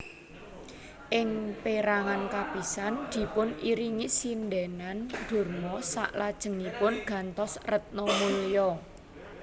Ing pérangan kapisan dipun iringi sindhènan Durma salajengipun gantos Retnamulya